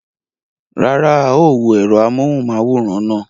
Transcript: Rárá, a ó wo ẹ̀rọ amóhùnmáwòrán náà.